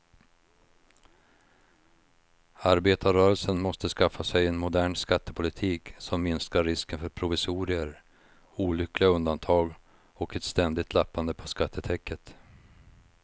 Arbetarrörelsen måste skaffa sig en modern skattepolitik som minskar risken för provisorier, olyckliga undantag och ett ständigt lappande på skattetäcket.